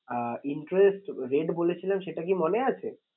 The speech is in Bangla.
আঁ interest rate বলেছিলাম সেটা কি মনে আছে?